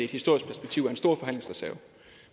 i et historisk perspektiv er en stor forhandlingsreserve